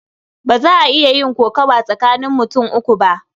Ba za a iya yin kokawa tsakanin mutum uku ba.